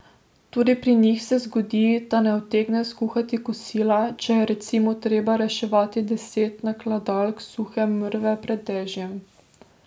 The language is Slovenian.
Tudi pri njih se zgodi, da ne utegne skuhati kosila, če je recimo treba reševati deset nakladalk suhe mrve pred dežjem.